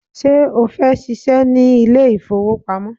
Ṣé o fẹ́ ṣíṣe ní ilé ìfowópamọ́?